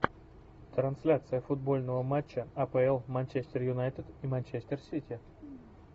трансляция футбольного матча апл манчестер юнайтед и манчестер сити